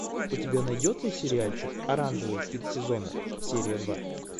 у тебя найдется сериальчик оранжевый хит сезона серия два